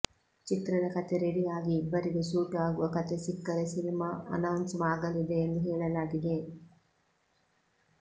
ಚಿತ್ರದ ಕತೆ ರೆಡಿ ಆಗಿ ಇಬ್ಬರಿಗೂ ಸೂಟ್ ಆಗುವ ಕತೆ ಸಿಕ್ಕರೆ ಸಿನಿಮಾ ಅನೌನ್ಸ್ ಆಗಲಿದೆ ಎಂದು ಹೇಳಲಾಗಿದೆ